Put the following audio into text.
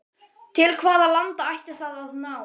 Til hvaða landa ætti það að ná?